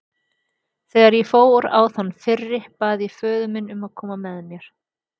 Þegar ég fór á þann fyrri bað ég föður minn að koma með mér.